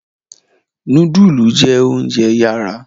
Nudulu jẹ ounjẹ yara